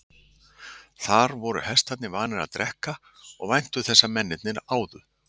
Þar voru hestarnir vanir að drekka og væntu þess að mennirnir áðu.